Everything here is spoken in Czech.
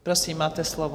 Prosím, máte slovo.